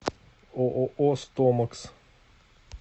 ооо стомакс